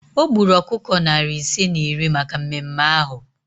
O gburu ọkụkọ narị ise na iri maka mmemme ahụ